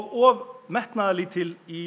og metnaðarlítil í